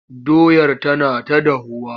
Doyar tana ta dahuwa.